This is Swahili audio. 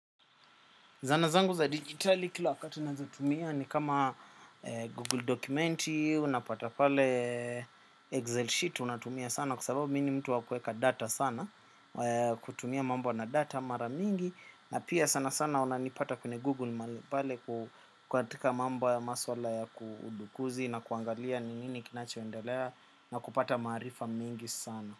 Zana zangu za digitali kila wakati ninazotumia ni kama Google documenti unapata pale Excel sheet unatumia sana kwa sababu mimi ni mtu wa kuweka data sana kutumia mambo na data mara mingi na pia sana sana unanipata kwenye Google mahali pale ku katika mambo ya maswala ya kudukuzi na kuangalia ni nini kinachoendelea na kupata marifa mingi sana.